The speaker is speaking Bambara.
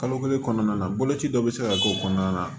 Kalo kelen kɔnɔna na boloci dɔ bɛ se ka k'o kɔnɔna na